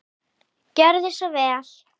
Gjörðu svo vel.